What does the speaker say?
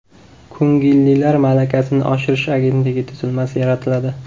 Ko‘ngillilar malakasini oshirish agentligi tuzilmasi yaratiladi.